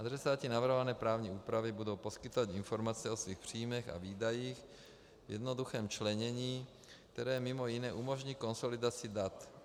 Adresáti navrhované právní úpravy budou poskytovat informace o svých příjmech a výdajích v jednoduchém členění, které mimo jiné umožní konsolidaci dat.